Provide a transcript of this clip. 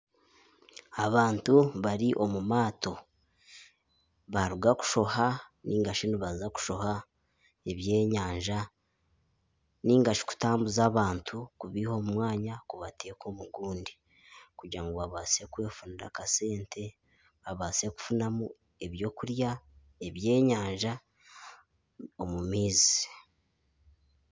Abantu bari omu maato, baaruga kushoha nainga shi nibaza kushoha ebyenyanja. Nainga shi kutambuza abantu kubaiha omu mwanya kubateeka omu gundi kugira ngu babaase kwefunira akasente. Babaase kufunamu ebyokurya ebyenyanja omu maizi.